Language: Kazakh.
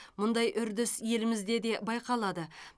мұндай үрдіс елімізде де байқалады